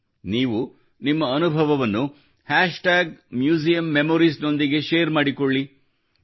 ನೀವು ನಿಮ್ಮ ಅನುಭವವನ್ನು tag museum memories hashtag museum memories ನೊಂದಿಗೆ ಶೇರ್ ಮಾಡಿಕೊಳ್ಳಿ